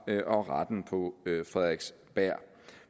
og retten på frederiksberg